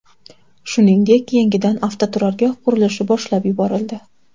Shuningdek, yangidan avtoturargoh qurilishi boshlab yuborildi.